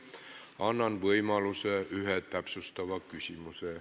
Annan võimaluse esitada üks täpsustav küsimus.